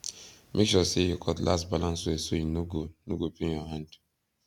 make sure say your cutlass balance well so e no go no go pain your hand